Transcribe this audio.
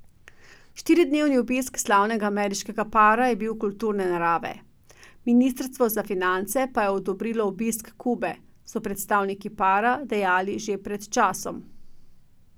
Štiridnevni obisk slavnega ameriškega para je bil kulturne narave, ministrstvo za finance pa je odobrilo obisk Kube, so predstavniki para dejali pred časom.